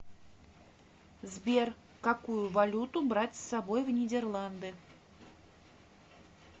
сбер какую валюту брать с собой в нидерланды